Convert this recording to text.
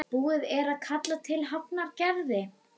Búið er að kalla til Hafnar Gerði